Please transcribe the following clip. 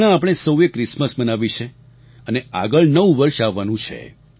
હમણાં આપણે સૌએ ક્રિસમસ મનાવી છે અને આગળ નવું વર્ષ આવવાનું છે